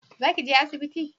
Za ki je asibiti?